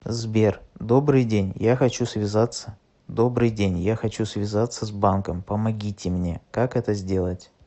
сбер добрый день я хочу связаться добрый день я хочу связаться с банком помогите мне как это сделать